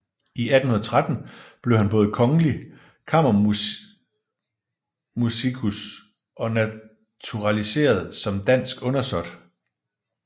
I 1813 blev han både kongelig kammermusikus og naturaliseret som dansk undersåt